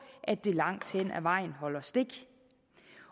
at det langt hen ad vejen holder stik